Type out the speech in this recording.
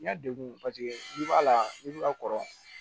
N y'a degun paseke a la n'i b'a kɔrɔ